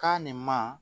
Ka nin ma